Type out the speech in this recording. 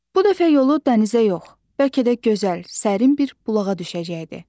Bu dəfə yolu dənizə yox, bəlkə də gözəl, sərin bir bulağa düşəcəkdi.